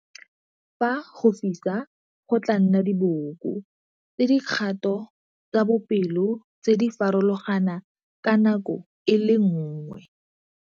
Fa go fisa go tlaa nna diboko tsa dikgato tsa bopelo tse di farologana ka nako e le nngwe.